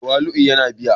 Tawali'u yana biya